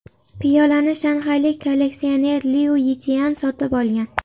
Piyolani shanxaylik kolleksioner Liu Yichian sotib olgan.